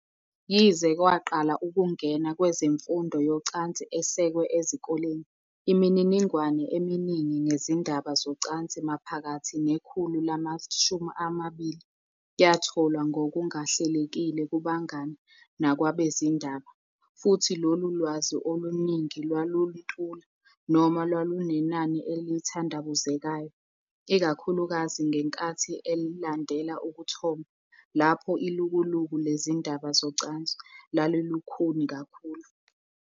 Yize kwaqala ukungena kwezemfundo yocansi esekwe ezikoleni, imininingwane eminingi ngezindaba zocansi maphakathi nekhulu lama-20 yatholwa ngokungahlelekile kubangani nakwabezindaba, futhi lolu lwazi oluningi lwaluntula noma lwalunenani elithandabuzekayo, ikakhulukazi ngenkathi elandela ukuthomba, lapho ilukuluku lezindaba zocansi lalilukhuni kakhulu.